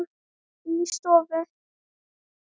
Hörfar aftur inn í stofu.